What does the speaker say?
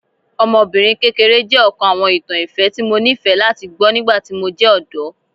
Ọmọbinrin kekere jẹ ọkan awọn itan ifẹ ti Mo nifẹ lati gbọ nigbati mo jẹ ọdọ